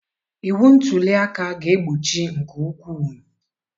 Iwu ntuli aka ga-egbochi nke ukwuu